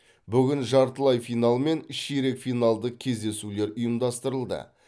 бүгін жартылай финал мен ширек финалдық кездесулер ұйымдастырылды